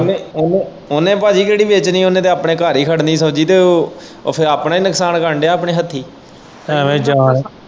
ਉਹਨੇ ਉਹਨੇ ਭਾਜੀ ਕਿਹੜੀਵੇਚਣੀ ਉਹਨੇ ਤੇ ਆਪਣੇ ਘਰ ਹੀ ਖੜ੍ਹਣੀ ਸ਼ਬਜੀ ਤੇ ਉਹ ਫੇਰ ਆਪਣਾ ਹੀ ਨੁਕਸਾਨ ਕਰਨ ਦਿਆਂ ਆਪਣੇ ਹੱਥੀਂ ।